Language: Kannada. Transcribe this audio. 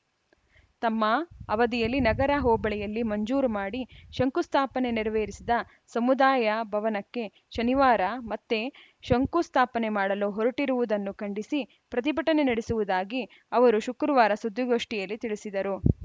ತಮ್ಮ ಅವಧಿಯಲ್ಲಿ ನಗರ ಹೋಬಳಿಯಲ್ಲಿ ಮಂಜೂರು ಮಾಡಿ ಶಂಕುಸ್ಥಾಪನೆ ನೆರವೇರಿಸಿದ ಸಮುದಾಯ ಭವನಕ್ಕೆ ಶನಿವಾರ ಮತ್ತೆ ಶಂಕುಸ್ಥಾಪನೆ ಮಾಡಲು ಹೊರಟಿರುವುದನ್ನು ಖಂಡಿಸಿ ಪ್ರತಿಭಟನೆ ನಡೆಸುವುದಾಗಿ ಅವರು ಶುಕ್ರವಾರ ಸುದ್ದಿಗೋಷ್ಠಿಯಲ್ಲಿ ತಿಳಿಸಿದರು